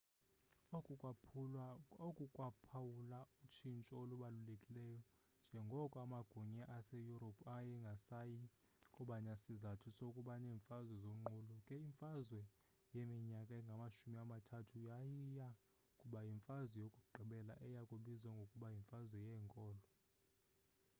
oku kwaphawula utshintsho olubalulekileyo njengoko amagunya aseyurophu ayengasayi kuba nasizathu sokuba neemfazwe zonqulo ke imfazwe yeminyaka engamashumi amathathu yayiya kuba yimfazwe yokugqibela eya kubizwa ngokuba yimfazwe yeenkolo